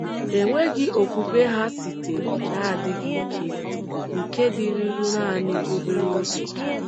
Enweghị okwukwe ha sitere n’adịghị ike nke dịruru nanị obere oge.